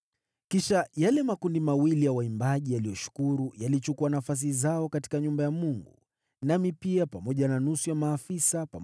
Kisha yale makundi mawili ya waimbaji yaliyoshukuru yakachukua nafasi zao katika nyumba ya Mungu. Nami pia nikafanya hivyo, pamoja na nusu ya maafisa,